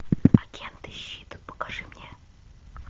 агенты щит покажи мне